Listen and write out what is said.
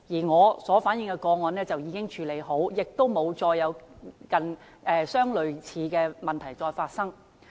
我所反映的個案已經獲得處理，亦沒有類似的問題再發生。